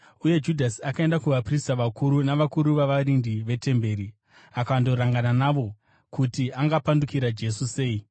Uye Judhasi akaenda kuvaprista vakuru navakuru vavarindi vetemberi akandorangana navo kuti angapandukira Jesu sei.